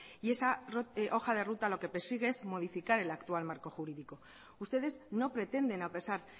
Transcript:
y esa hoja de ruta lo que persigue es modificar el actual marco jurídico ustedes no pretenden a pesar